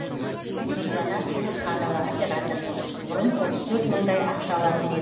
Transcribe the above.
нұржанар темірханова оператор бұрын отыз төрт мыңдай ақша алатын едік